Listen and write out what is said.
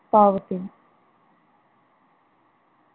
पावते.